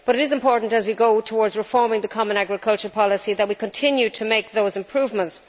But it is important, as we move towards reforming the common agricultural policy, that we continue to make those improvements.